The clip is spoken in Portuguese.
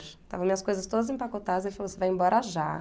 Estavam as minhas coisas todas empacotadas, ele falou, você vai embora já.